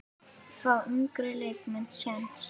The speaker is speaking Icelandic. Fá yngri leikmenn séns?